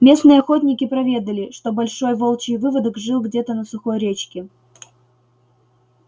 местные охотники проведали что большой волчий выводок жил где-то на сухой речке